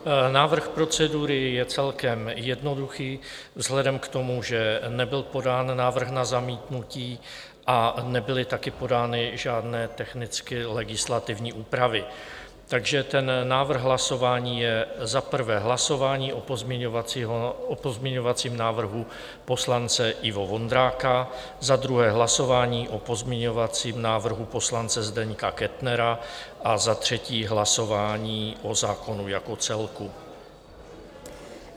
Návrh procedury je celkem jednoduchý vzhledem k tomu, že nebyl podán návrh na zamítnutí a nebyly taky podány žádné technicky legislativní úpravy, takže ten návrh hlasování je za prvé hlasování o pozměňovacím návrhu poslance Ivo Vondráka, za druhé hlasování o pozměňovacím návrhu poslance Zdeňka Kettnera a za třetí hlasování o zákonu jako celku.